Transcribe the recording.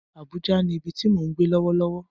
Abuja ni ibi ti mo n gbe lọwọlọwọ.